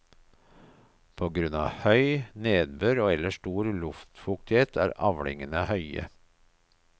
På grunn av høy nedbør og ellers stor luftfuktighet er avlingene høye.